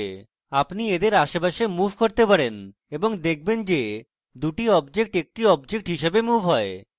আপনি এদের আশেপাশে move করতে পারেন এবং আপনি দেখবেন যে দুটি objects একটি objects হিসাবে move you